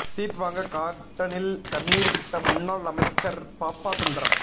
seat வாங்க கார்டனில் கண்ணீர் விட்ட முன்னாள் அமைச்சர் பாப்பா சுந்தரம்